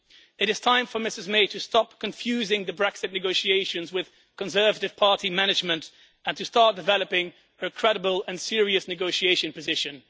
It is time for Ms May to stop confusing the Brexit negotiations with Conservative Party management and to start developing a credible and serious negotiating position.